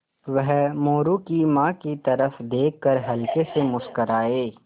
वह मोरू की माँ की तरफ़ देख कर हल्के से मुस्कराये